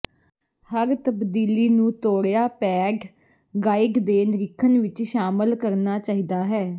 ਹਰ ਤਬਦੀਲੀ ਨੂੰ ਤੋੜਿਆ ਪੈਡ ਗਾਈਡ ਦੇ ਨਿਰੀਖਣ ਵਿੱਚ ਸ਼ਾਮਲ ਕਰਨਾ ਚਾਹੀਦਾ ਹੈ